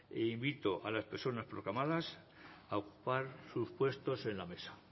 e invito a las personas proclamadas a ocupar sus puestos en la mesa